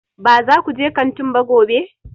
Ba za ku je kantin ba gobe!